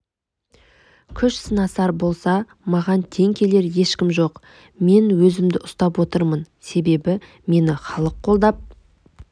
күш сынасар болса маған тең келер ешкім жоқ мен өзімді ұстап отырмын себебі мені халық қолдап